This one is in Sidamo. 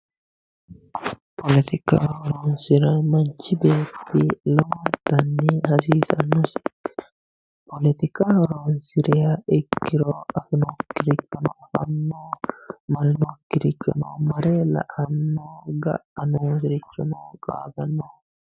Poletika horonsira manchi beetti lowontanni hasiisanosi poletika horonsiriha ikkiro afirinokkirichono afano mare lainokkirichono ga"a noosirichono qaagano.